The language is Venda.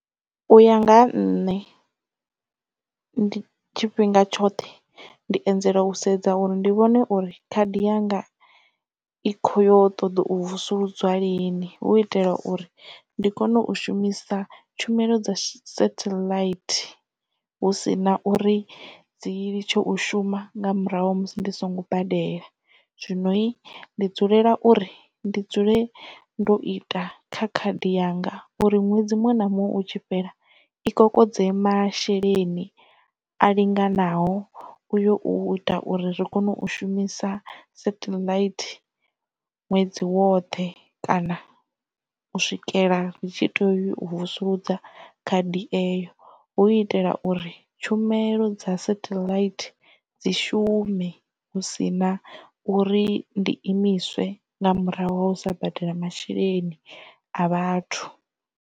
U ya nga ha nṋe ndi tshifhinga tshoṱhe ndi anzela u sedza uri ndi vhone uri khadi yanga i khoyo ṱoḓa u vusuludzwa lini hu itela uri ndi kone u shumisa tshumelo dza satellite hu si na uri dzi litshe u shuma nga murahu musi ndi songo badela zwino ndi dzulela uri ndi dzule ndo ita kha khadi yanga uri ṅwedzi muṅwe na muṅwe u tshi fhela i kokodze masheleni a linganaho uyo u ita uri ri kone u shumisa satellite ṅwedzi woṱhe kana u swikela dzi tshi teo vusuludza khadi eyo hu itela uri tshumelo dza satellite dzi shume hu si na uri ndi imiswe nga murahu ha u sa badela masheleni a vhathu.